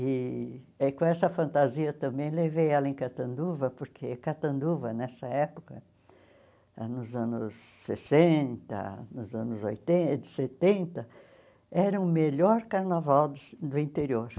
E aí com essa fantasia também levei ela em Catanduva, porque Catanduva, nessa época, nos anos sessenta, nos anos oiten setenta, era o melhor carnaval do do interior.